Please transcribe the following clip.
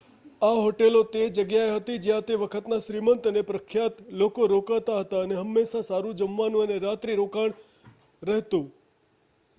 આ હોટલો તે જગ્યાએ હતી જ્યાં તે વખતના શ્રીમંત અને પ્રખ્યાત લોકો રોકાતા હતા અને હંમેશાં સારું જમવાનું અને રાત્રિ રોકાણ રહેતું